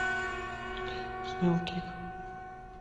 снейлкик